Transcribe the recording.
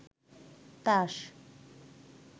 তাস